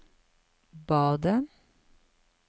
badet